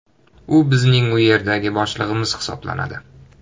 U bizning u yerdagi boshlig‘imiz hisoblanadi.